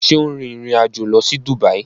Ṣe o n rìn ìrìn àjò lọ sí Dubai?